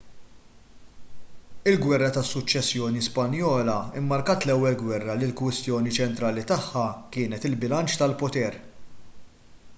il-gwerra tas-suċċessjoni spanjola mmarkat l-ewwel gwerra li l-kwistjoni ċentrali tagħha kienet il-bilanċ tal-poter